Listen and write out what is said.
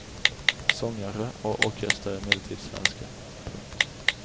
Sångare och orkester är emellertid svenska. punkt